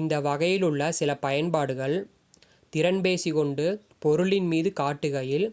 இந்த வகையிலுள்ள சில பயன்பாடுகள் திறன்பேசி கொண்டு பொருளின் மீது காட்டுகையில்